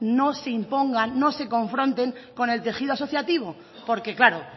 no se impongan no se confronten con el tejido asociativo porque claro